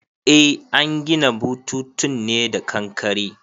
Eh an gina bututun ne da kankare